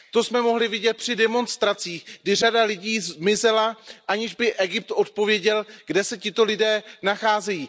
To jsme mohli vidět při demonstracích, kdy řada lidí zmizela, aniž by Egypt odpověděl, kde se tito lidé nachází.